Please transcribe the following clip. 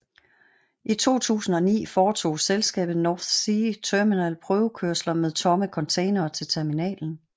I 2009 foretog selskabet NorthSea Terminal prøvekørsler med tomme containere til terminalen